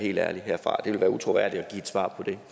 helt ærlig det ville være utroværdigt at give et svar på det